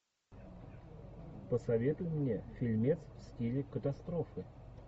посоветуй мне фильмец в стиле катастрофы